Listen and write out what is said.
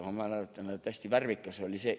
Ma mäletan, hästi värvikas oli see: "..